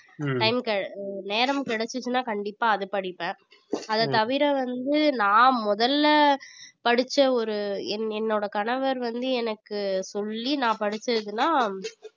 நேரம் கிடைச்சுச்சுன்னா கண்டிப்பா அதை படிப்பேன் அதைத் தவிர வந்து நான் முதல்ல படிச்ச ஒரு என் என்னோட கணவர் வந்து எனக்கு சொல்லி நான் படிச்சதுன்னா